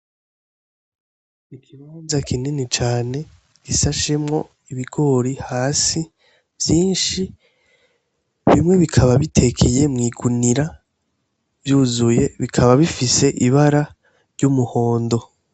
Igibanza kinini cane gisa shemwo ibigori hasi vyinshi bimwe bikaba bitekiye mw'igunira vyuzuye bikaba bifise ibara ry'umuhondo.